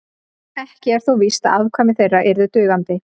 ekki er þó víst að afkvæmi þeirra yrðu dugandi